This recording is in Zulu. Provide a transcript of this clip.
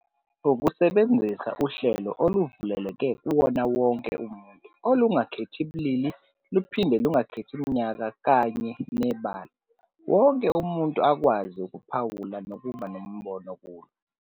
Ukusebenzisa uhlelo oluvuleleke kuwona wonke umuntu, olungakhethi bulili luphinde lungakhethi iminyaka kanye nebala. Wonke umuntu akwazi ukuphawula nokuba nombono kulo.